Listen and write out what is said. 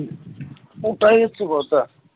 ওটাই হচ্ছে কথা